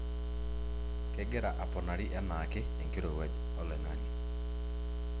kegira aponari enaake enkirowuaj oloing'ang'e